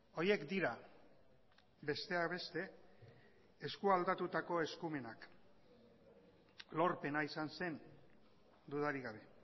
horiek dira besteak beste eskualdatutako eskumenak lorpena izan zen dudarik gabe